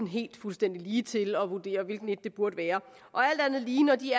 helt fuldstændig ligetil at vurdere hvilket af det burde være og alt andet lige når de